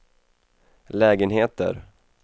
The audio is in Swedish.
lägenheter